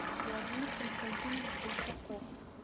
владимир константинович большаков